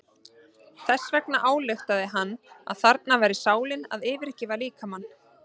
Þess vegna ályktaði hann að þarna væri sálin að yfirgefa líkamann.